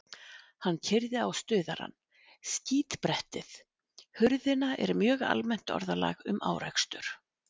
Hann keyrði á stuðarann, skítbrettið, hurðina er mjög almennt orðalag um árekstur.